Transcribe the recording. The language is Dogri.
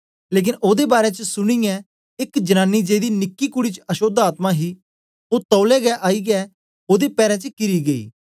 लेकन ओदे बारै च सुनीयै एक जनानी जेदी निकी कूडी च अशोद्ध आत्मा ही ओ तौलै गै आईयै ओदे पैरे च किरी गेई